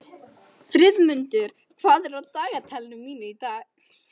Friðmundur, hvað er á dagatalinu mínu í dag?